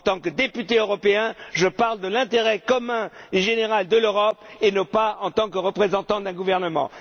En tant que député européen, je parle de l'intérêt commun et général de l'Europe, et ce non pas en tant que représentant d'un gouvernement.